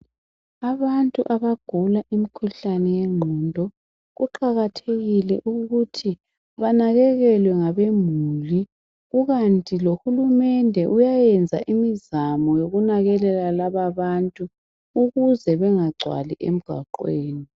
Abantu abagula imkhuhlane yengqondo kuqakathekile ukuthi banakekelwe ngabemuli. Kukanti lohulumende uyayenza imizamo yokunakekela laba abantu ukuze bengagcwali emgwaqweni.